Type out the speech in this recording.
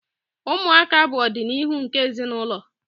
Ụmụaka bụ ọdịnihu nke ezinụlọ.